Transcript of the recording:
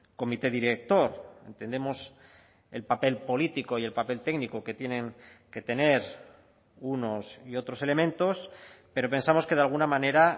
comité director entendemos el papel político y el papel técnico que tienen que tener unos y otros elementos pero pensamos que de alguna manera